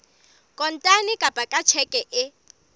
kontane kapa ka tjheke e